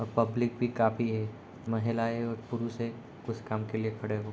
और पब्लिक भी काफी है महिलाये और पुरुषें कुछ काम के लिए खड़े हुए --